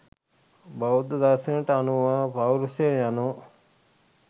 බෞද්ධ දර්ශනයට අනුව පෞර්ෂය යනු,